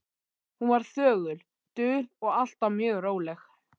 Hún var þögul, dul og alltaf mjög róleg.